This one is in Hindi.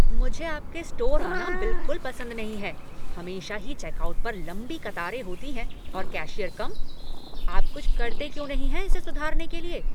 मुझे आपके स्टोर आना बिलकुल पसंद नहीं है हमेशा ही चेकआउट पर लंबी कतारें होती हैं और कैशियर कम। आप कुछ करते क्यों नहीं हैं इसे सुधारने के लिए?